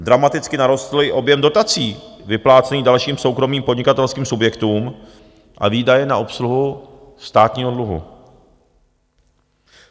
Dramaticky narostl i objem dotací vyplácených dalším soukromým podnikatelským subjektům a výdaje na obsluhu státního dluhu.